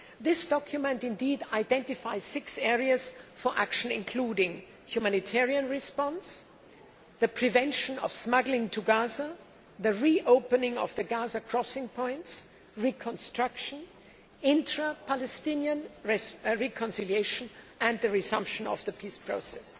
This document identifies six areas for action including humanitarian response, the prevention of smuggling to Gaza, the re opening of the Gaza crossing points, reconstruction, intra Palestinian reconciliation and the resumption of the peace process.